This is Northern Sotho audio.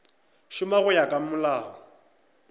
šoma go ya ka molao